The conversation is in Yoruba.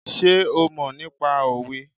Sé ó mọ̀ nípa òwe?